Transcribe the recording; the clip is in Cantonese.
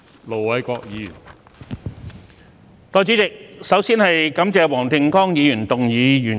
代理主席，首先感謝黃定光議員動議原議案。